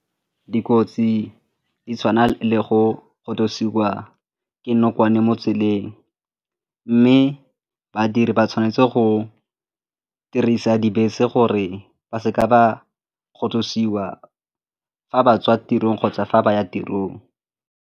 Dikotsi di tshwana le go kgothosiwa ke dinokwane mo tseleng mme badiri ba tshwanetse go dirisa dibese gore ba seka ba kgothosiwa fa ba tswa tirong kgotsa fa ba ya tirong.